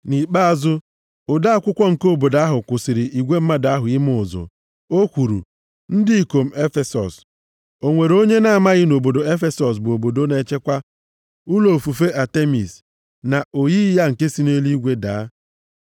Nʼikpeazụ, ode akwụkwọ nke obodo ahụ kwụsịrị igwe mmadụ ahụ ime ụzụ. O kwuru, “Ndị ikom Efesọs, o nwere onye na-amaghị na obodo Efesọs bụ obodo na-echekwa ụlọ ofufe Atemis, na oyiyi ya nke si nʼeluigwe daa?